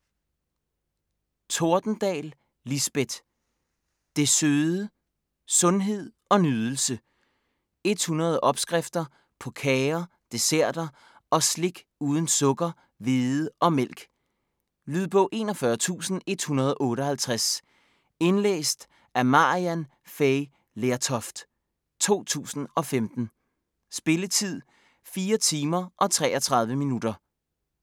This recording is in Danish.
Tordendahl, Lisbeth: Det søde: sundhed & nydelse 100 opskrifter på kager, desserter og slik uden sukker, hvede og mælk. Lydbog 41158 Indlæst af Maryann Fay Lertoft, 2015. Spilletid: 4 timer, 33 minutter.